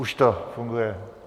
Už to funguje.